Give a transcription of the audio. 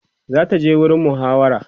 zata je gurin muhawara